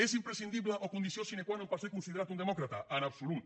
és imprescindible o condició sine qua non per ser considerat un demòcrata en absolut